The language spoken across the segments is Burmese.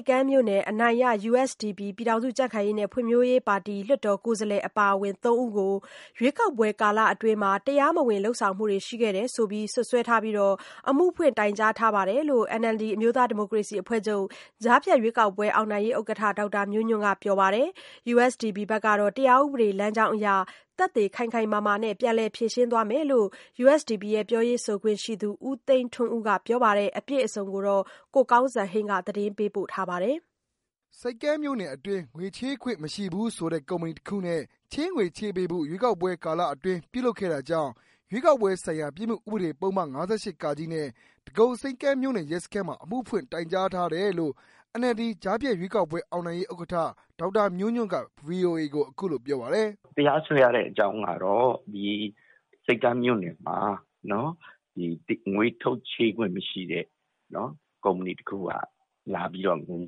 ပ်ကမ်းမြို့နယ် အနိုင်ရ USDP လွှတ်တော် ကိုယ်စားလှယ် အပါအဝင် ၃ဦးကို ရွေးကောက်ပွဲကာလအတွင်း တရားမဝင်လုပ်ဆောင်မှုတွေ ရှိတယ်လို့ စွပ်စွဲပြီး အမှုဖွင့်တိုင်ကြားထားတယ်လို့ NLD ကြားဖြတ်ရွေးကောက်ပွဲ အောင်နိုင်ရေးဥက္ကဌ ဒေါက်တာမျိုးညွန့်ကပြောပါတယ်။ USDP ဘက်ကတော့ တရားဥပဒေ လမ်းကြောင်းအရ သက်သေခိုင်ခိုင်မာမာနဲ့ ပြန်လည်ဖြေရှင်းသွားမယ်လို့ ပြောရေးဆိုခွင့်ရှိသူ ဦးသိန်းထွန်းဦးကပြောပါတယ်။ အပြည့်အစုံကို ကိုကောင်းစံဟိန်းက ပြောပြပေးမှာပါ။ ဆိပ်ကမ်းမြို့နယ်အတွင်း ငွေချေးခွင့် မရှိဘူးဆိုတဲ့ ကုမ္ပဏီတစ်ခုနဲ့ ချေးငွေ ချေးပေးဖို့ ရွေးကောက်ပွဲ ကာလအတွင်း ပြုလုပ်ခဲ့တာကြောင့် ရွေးကောက်ပွဲဆိုင်ရာ ပြစ်မှုဥပဒေ ပုဒ်မ ၅၈(က) နဲ့ ဒဂုံဆိပ်ကမ်းမြို့နယ် ရဲစခန်းမှာ အမှုဖွင့်တိုင်ကြားထားတယ်လို့ NLD ကြားဖြတ်ရွေးကောက်ပွဲ အောင်နိုင်ရေးဥက္ကဌ ဒေါက်တာမျိုးညွန့်ကပြောပါတယ်။ "တရားစွဲရတဲ့အကြောင်းကတော့ ဆိပ်ကမ်းမြို့နယ်မှာ ငွေချေးခွင့် မရှိတဲ့ ကုမ္ပဏီတစ်ခုက လာပြီးတော့ ငွေ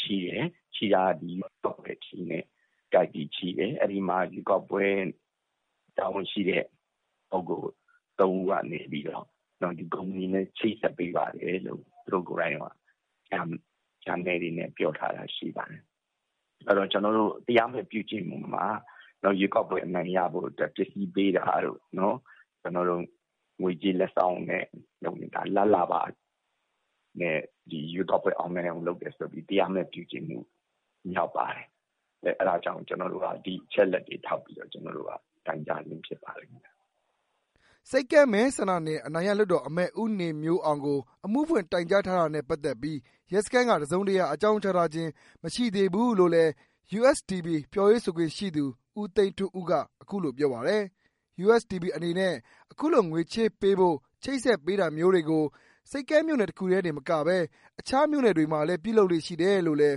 ချေးတယ်။ အဲဒီမှာ ရွေးကောက်ပွဲ တာဝန်ရှိတဲ့ လူ ၃ ဦးကနေပြီးတော့ ဒီကုမ္ပဏီနဲ့ ချိတ်ဆက်ပေးပါတယ်ဆိုပြီးတော့ ပြောထားတာရှိပါတယ်။ ဆိုတော့ ကျနော်တို့ တရားဥပဒေအရ ရွေးကောက်ပွဲ အနိုင်ရဖို့အတွက် ပစ္စည်းပေးတာတို့ ၊ ငွေကြေးလက်ဆောင် လာဘ်လာဘ နဲ့ ရွေးကောက်ပွဲ အောင်နိုင်အောင် လုပ်တယ်ဆိုပြီး တရားမဲ့ပြုကျင့်တာရောက်ပါတယ်။ အဲဒါကြောင့် ကျနော်တို့က ဒီအချက်အလက်တွေထောက်ပြီးတော့ တိုင်ကြားတာဖြစ်ပါလိမ့်မယ်။" ဆိပ်ကမ်းမဲဆန္ဒနယ် အနိုင်ရလွှတ်တော်အမတ် ဦးနေမျိုးအောင်ကို အမှုဖွင့်တိုင်ကြားထားတာနဲ့ ပက်သက်ပီး ရဲစခန်းက တစ်စုံတစ်ရာ အကြောင်းကြားထားခြင်း မရှိသေးဖူးလို့ USDP ပြောရေးဆိုခွင့် ရှိသူ ဦးသိန်းထွန်းဦးကပြောပါတယ်။ USDP အနေနဲ့ အခုလို ချေးငွေချပေးဖို့ ချိတ်ဆက်ပေးတာမျိုးတွေကို ဆိပ်ကမ်းမြို့နယ်တခုတည်းမကဘဲ မခြားမြို့နယ်တွေမှာလည်း ပြုလုပ်လေ့ရှိတယ်လို့လည်း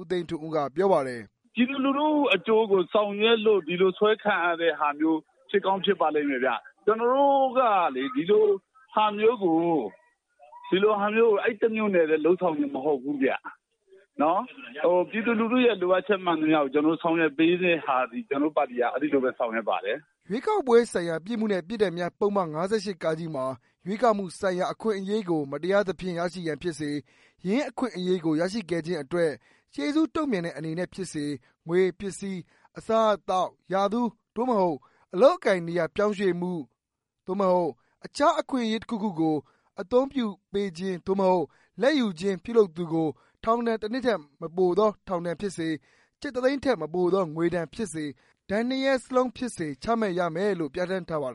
ဦးသိန်းထွန်းက ပြောပါတယ်။ "ပြည်သူလူထုအကျိုးကို ဆောင်ရွက်လို့ ဒီလိုစွဲခံရတာတွေ ဖြစ်ကောင်းဖြစ်ပါလိမ့်မယ်ခင်ဗျ။ ကျနော်တို့ကလေ ဒီလိုဟာမျိုးကို အဲဒီ တမျို့နယ်ထဲ လုပ်ဆောင်တာမဟုတ်ဘူးခင်ဗျ။ ပြည်သူလူထု လိုအပ်ချက် မှန်သမျှကို ဒီလိုဆောင်ရွက်ပေးတာသည် ကျနော်တို့ ပါတီက အဲလိုပဲဆောင်ရွက်ပါတယ်။" ရွေးကောက်ပွဲဆိုင်ရာ ပြစ်မှု နှင့် ပြစ်ဒဏ်များ ပုဒ်မ ၅၈ (က) မှာ ရွေးကောက်မှုဆိုင်ရာ အခွင့် အရေးကို မတရားသဖြင့် ရရှိရန်ဖြစ်စေ၊ ယင်းအ ခွင့်အရေးကို ရရှိခဲ့ခြင်းအတွက် ကျေးဇူးတုံ့ပြန်သည့်အနေဖြင့် ဖြစ်စေ ငွေ၊ ပစ္စည်း၊ အစားအသောက်၊ ရာထူး (သို့ မဟုတ်) အလုပ်အကိုင် နေရာ ပြောင်းရွှေ့မှု (သို့မဟုတ်) အခြား အခွင့်အရေးတစ်ခုခုကို အသုံးပြု လာဘ်ပေးခြင်း (သို့မဟုတ်)လာဘ်ယူခြင်း ပြုလုပ်သူကို ထောင်ဒဏ်တစ်နှစ်ထက် မပိုသော ထောင်ဒဏ်ဖြစ်စေ၊ ကျပ်တစ်သိန်းထက်မပိုသော ငွေ ဒဏ်ဖြစ်စေ၊ ဒဏ်နှစ်ရပ်စလုံးဖြစ် စေ ချမှတ်ရမည်လို့ပြဋ္ဌာန်းထားပါတယ်